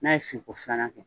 N'a ye fin ko filana kɛ